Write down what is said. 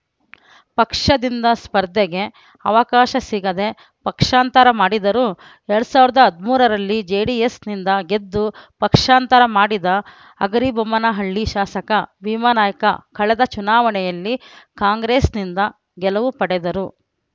ಪಕ್ಷದಿಂದ ಸ್ಪರ್ಧೆಗೆ ಅವಕಾಶ ಸಿಗದೆ ಪಕ್ಷಾಂತರ ಮಾಡಿದರು ಎರಡ್ ಸಾವಿರದ ಹದಿಮೂರರಲ್ಲಿ ಜೆಡಿಎಸ್‌ನಿಂದ ಗೆದ್ದು ಪಕ್ಷಾಂತರ ಮಾಡಿದ ಹಗರಿಬೊಮ್ಮನಹಳ್ಳಿ ಶಾಸಕ ಭೀಮಾನಾಯ್ಕ ಕಳೆದ ಚುನಾವಣೆಯಲ್ಲಿ ಕಾಂಗ್ರೆಸ್‌ನಿಂದ ಗೆಲುವು ಪಡೆದರು